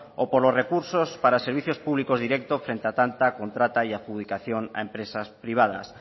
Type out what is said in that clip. o por los recursos para servicios públicos directo frente a tanta contrata y adjudicación a empresas privadas